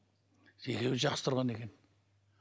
екеуі жақсы тұрған екен